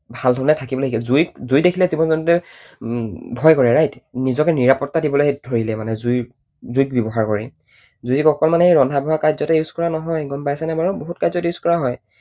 ভাল ধৰণেৰে থাকিবলৈ শিকিলে। জুই দেখিলে জীৱ জন্তুৱে ভয় কৰে right? নিজকে নিৰাপত্তা দিবলৈ ধৰিলে মানে। জুইক ব্যৱহাৰ কৰি। জুইক অকল মানে এই ৰন্ধা বঢ়া কাৰ্য্যতে use কৰা নহয় গম পাইছানে বাৰু? বহুত কাৰ্য্যত use কৰা হয়।